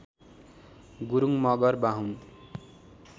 Gurung Magar Bahun